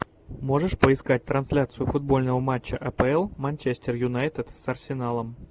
можешь поискать трансляцию футбольного матча апл манчестер юнайтед с арсеналом